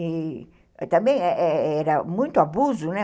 E também era muito abuso, né?